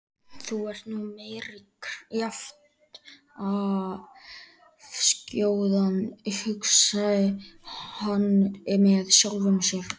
Þú ert nú meiri kjaftaskjóðan hugsaði hann með sjálfum sér.